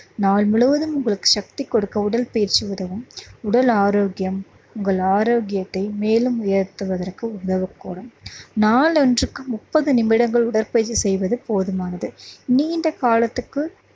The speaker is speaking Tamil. நாள் முழுவதும் உங்களுக்கு சக்தி கொடுக்க உடற்பயிற்சி உதவும் உடல் ஆரோக்கியம் உங்கள் ஆரோக்கியத்தை மேலும் உயர்த்துவதற்கு உதவக்கூடும். நாளொன்றுக்கு முப்பது நிமிடங்கள் உடற்பயிற்சி செய்வது போதுமானது. நீண்ட காலத்துக்கு